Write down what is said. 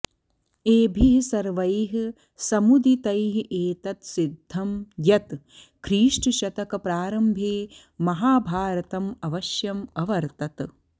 एभिः सर्वैः समुदितैरेतत् सिद्धं यत् ख्रीष्टशतकप्रारम्भे महाभारतम् अवश्यम् अवर्तत